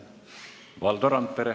Valdo Randpere.